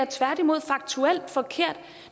tværtimod faktuelt forkert